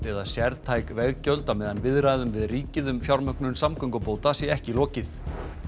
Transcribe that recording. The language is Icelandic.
eða sértæk veggjöld á meðan viðræðum við ríkið um fjármögnun samgöngubóta sé ekki lokið